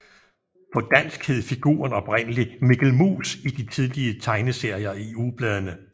På dansk hed figuren oprindelig Mikkel Mus i de tidlige tegneserier i ugebladene